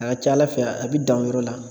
A ka ca Ala fɛ a bɛ dan o yɔrɔ la.